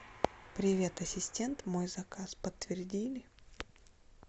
привет ассистент мой заказ подтвердили